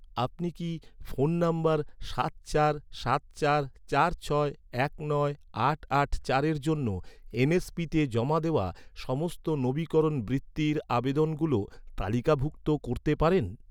আপনি কি, ফোন নম্বর সাত চার সাত চার চার ছয় এক নয় আট আট চারের জন্য, এনএসপিতে জমা দেওয়া সমস্ত নবীকরণ বৃত্তির আবেদনগুলো তালিকাভুক্ত করতে পারেন?